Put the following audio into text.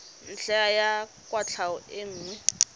ntlha ya kwatlhao e nngwe